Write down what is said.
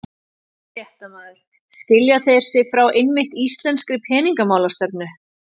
Fréttamaður: Skilja þeir sig frá einmitt íslenskri peningamálastefnu?